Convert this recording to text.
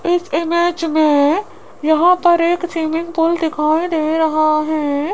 इस इमेज में यहां पर एक स्विमिंग पूल दिखाई दे रहा है।